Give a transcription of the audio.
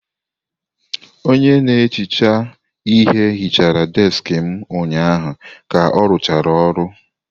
Onye na-ehicha ihe hichara deskị m ụnyaahụ ka arụchara ọrụ.